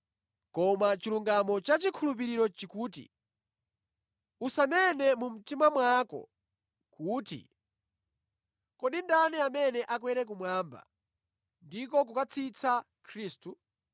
Koma chilungamo cha chikhulupiriro chikuti, “Usanene mu mtima mwako kuti, ‘Kodi ndani amene akwere kumwamba?’ ” (ndiko, kukatsitsa Khristu)